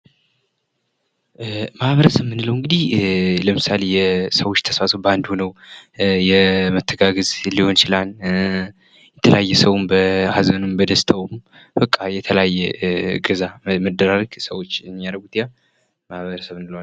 ማህበረሰብ የጋራ እሴቶችና ግቦች ያላቸው የሰዎች ስብስብ ሲሆን ቤተሰብ ደግሞ የቅርብ ዝምድና ያላቸውና አብረው የሚኖሩ ሰዎች ናቸው።